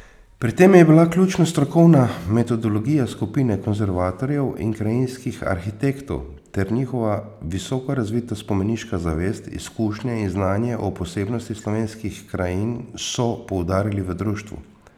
Pri tem je bila ključna strokovna metodologija skupine konservatorjev in krajinskih arhitektov ter njihova visoko razvita spomeniška zavest, izkušnje in znanje o posebnostih slovenskih krajin, so poudarili v društvu.